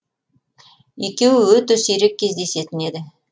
екеуі өте сирек кездесетін еді